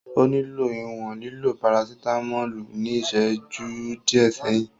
O nilo iwọn lilo parasitamolu ni iṣẹju diẹ sẹhin.